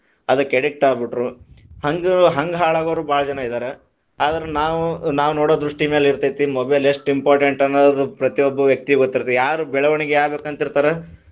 ಅದಕ್ಕ addict ಆಗ್ಬಿಟ್ರು, ಹಂಗ ಹಂಗ ಹಾಳಾಗೊರು ಬಾಳ ಜನಾ ಇದಾರ, ಆದರ ನಾವು ನಾವು ನೊಡೊ ದೃಷ್ಟಿ ಮ್ಯಾಲೆ ಇರತೈತಿ mobile ಎಸ್ಟ್ important ಅನ್ನದು ಪ್ರತಿಯೊಬ್ಬ ವ್ಯಕ್ತಿಗು ಗೊತ್ತಿರತೈತಿ, ಯಾರ ಬೆಳವಣಿಗೆ ಆಗ್ಬೇಕ ಅಂತಿರ್ತಾರ.